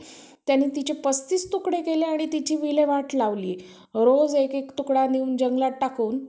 तुझं काय चाललं बाकी?